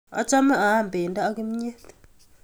Achame aame pendo ak kimyet